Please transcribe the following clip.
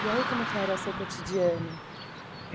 E aí, como que era o seu cotidiano?